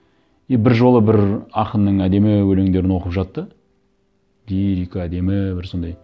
и бір жолы бір ақынның әдемі өлеңдерін оқып жатты лирика әдемі бір сондай